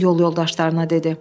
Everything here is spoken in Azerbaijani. o yol yoldaşlarına dedi.